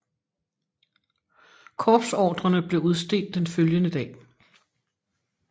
Korpsordrerne blev udstedt den følgende dag